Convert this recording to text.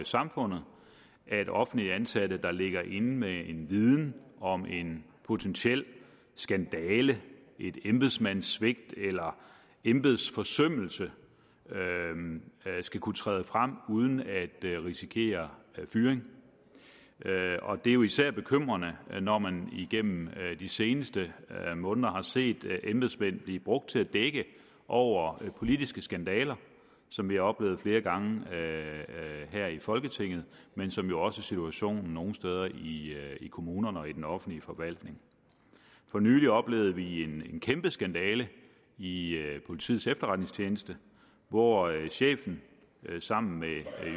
samfundet at offentligt ansatte der ligger inde med en viden om en potentiel skandale et embedsmandssvigt eller embedsforsømmelse skal kunne træde frem uden at risikere fyring og det er jo især bekymrende når man igennem de seneste måneder har set embedsmænd blive brugt til at dække over politiske skandaler som vi har oplevet flere gange her i folketinget men som jo også er situationen nogle steder i kommunerne og i den offentlige forvaltning for nylig oplevede vi en kæmpe skandale i politiets efterretningstjeneste hvor chefen sammen med